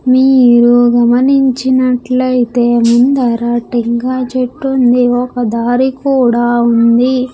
మీరు గమనించినటైతే ముందర టెంకాయ చెట్టు ఉంది ఒక్క దారి కూడా ఉంది.